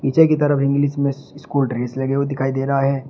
पीछे की तरफ इंग्लिश में स्कूल ड्रेस लगे हुए दिखाई दे रहा है।